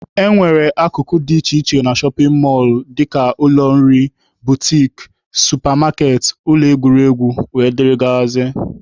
E nwere akụkụ dị iche iche na shọpin mọlụ dịka ụlọ nri, butiki, supa maketị, ụlọ egwuregwu wdg.